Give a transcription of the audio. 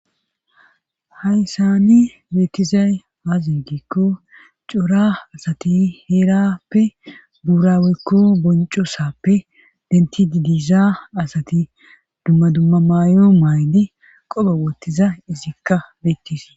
hayssani beettizay aazingikko cora asati heerappe buuraweykko bonco sappe denti didiza asati dumma dumma may7o maydi qoba wottiza izikka beettis